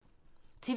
TV 2